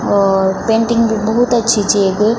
और पेंटिंग भी भोत अच्छी च येक।